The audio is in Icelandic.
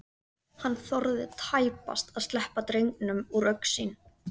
Hann þorði tæpast að sleppa drengnum úr augsýn.